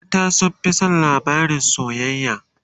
mata sun Fi San labarin soyayya